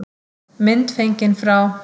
Mynd fengin frá